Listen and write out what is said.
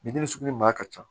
Bidenw sugu ɲuman ka ca